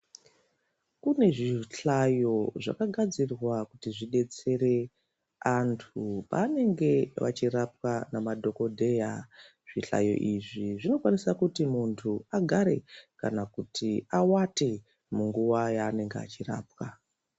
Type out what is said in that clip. Kune zvihlayo zvakagadzirirwe kuti zvedetsere antu panenge vachirapwa nemadhokodheya zvihlayo izvi zvinokwanisa kuti muntu agare kana kuti awate munguwa yanenge achirapwa.